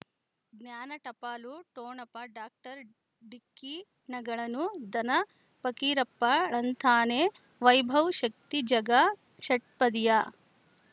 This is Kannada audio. ಜ್ಞಾನ ಟಪಾಲು ಠೊಣಪ ಡಾಕ್ಟರ್ ಢಿಕ್ಕಿ ಣಗಳನು ಧನ ಫಕೀರಪ್ಪ ಳಂತಾನೆ ವೈಭವ್ ಶಕ್ತಿ ಝಗಾ ಷಟ್ಪದಿಯ